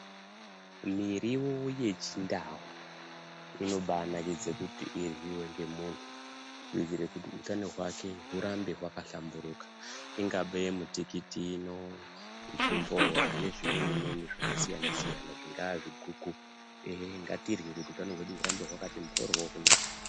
Miriwo yechindau inobanakidze kuti iryiwe ngemuntu kuitire kuti utano hwake hurambe hwaka hlamburuka ingave mitikiti ino, zvimbowa nezvimweni zvakasiyana siyana zvinga zviguku ngatirye kuti utano hwedu hurambe hwakati mboryo kunaka.